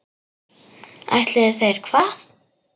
Ætluðu þeir hvað?